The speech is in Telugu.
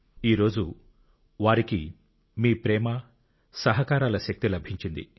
ఈ రోజు వారికి మీ ప్రేమ సహకారాల శక్తి లభించింది